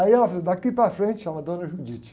Aí ela falou, daqui para frente, chamava dona,